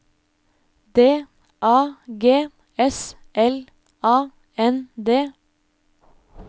D A G S L A N D